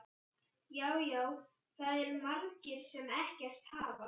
Já, já, það eru margir sem ekkert hafa.